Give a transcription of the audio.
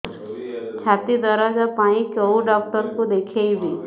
ଛାତି ଦରଜ ପାଇଁ କୋଉ ଡକ୍ଟର କୁ ଦେଖେଇବି